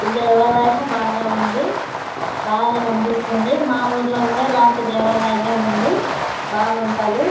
ఈ దేవాలయము బాగ ఉంది బాగా కనిపిస్తుంది మా ఊర్లో కూడా ఇలాంటి దేవాలయమె ఉంది బాగుంటది.